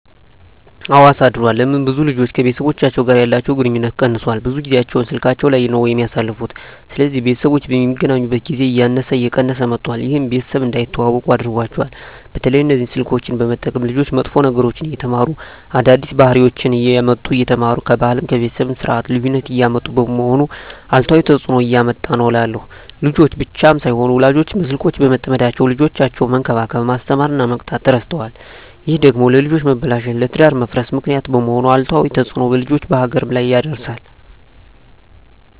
አወ አሳድሯል ለምን ብዙ ልጆች ከቤተሰቦቻቸው ጋር ያለቸዉ ግንኙነት ቀነሷል ብዙ ጊያቸዉን ስላካቸዉ ላይ ነዉ የሚያሳልፉት ስለዚህ ቤተሰቦች የሚገናኙበት ጊዜ እያነሰ እየቀነሰ መጧት ይሄም ቤተሰብ እንዳይተዋወቁ አድርጓቸዋል። በተለይ እነዚህ ስልኮችን በመጠቀም ልጆች መጥፎ ነገሮችን እየተማሩ አዳዲስ ባህሪወችነሰ እያመጡ እየተማሩ ከባህልም ከቤተሰብም የስርት ልዩነት እያመጡ በመሆኑ አሉታዊ ተጽእኖ እያመጣ ነዉ እላለሁ። ልጆች ብቻም ሳይሆኑ ወላጆችም በስልኮች በመጠመዳቸዉ ልጆቻቸዉነሰ መንከባከብ፣ መስተማር እና መቅጣት እረስተዋል ይሄ ደግሞ ለልጆች መበላሸት ለትዳር መፍረስ ምክንያት በመሄን አሉታዊ ተጽእኖ በልጆችም በሀገርም ላይ ያደርሳል።